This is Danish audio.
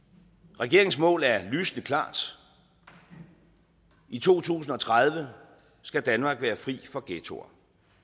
regeringens mål er lysende klart i to tusind og tredive skal danmark være fri for ghettoer